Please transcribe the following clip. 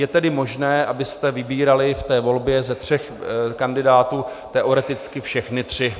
Je tedy možné, abyste vybírali v té volbě ze tří kandidátů teoreticky všechny tři.